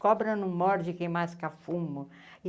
Cobra no morde quem masca fumo.